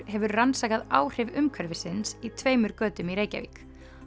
hefur rannsakað áhrif umhverfisins í tveimur götum í Reykjavík